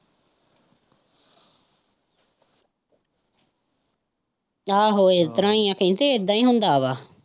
ਆਹੋ ਇਸ ਤਰਾਂ ਹੀ ਐ ਕਹਿੰਦੇ ਇਦਾ ਹੀ ਹੁੰਦਾ ਵਾ।